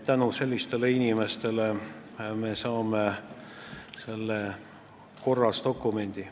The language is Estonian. Tänu sellistele inimestele me saame korras dokumendi.